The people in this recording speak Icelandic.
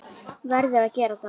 Verður að gera það.